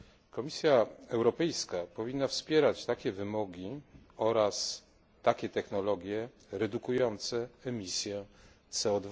Komisja Europejska powinna wspierać takie wymogi oraz takie technologie, redukujące emisję CO